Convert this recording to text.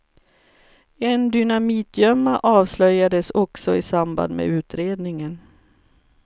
En dynamitgömma avslöjades också i samband med utredningen.